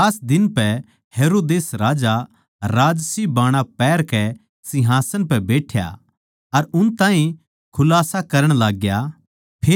खास दिन पै हेरोदेस राजा राजसीबाणा पहरकै सिंहासन पै बैठ्या अर उन ताहीं खुलास्सा करण लाग्या